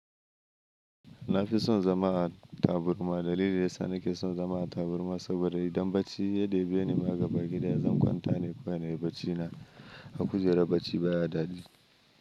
Na fi son zama a taburma. Dalili da ya sa na ke son zama a taburma saboda idan baci ya debe ni ma gaban gida, zan kwanta ne kawai na yi barcina. A kujera bacci baya daɗi.